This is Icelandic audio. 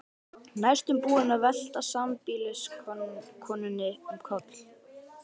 Næstum búinn að velta sambýliskonunni um koll.